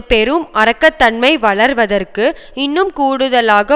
பெரும் அரக்கத்தன்மை வளர்வதற்கு இன்னும் கூடுதலாக